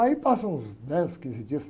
Aí passam uns dez, quinze dias.